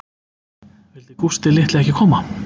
Vildi Gústi litli ekki koma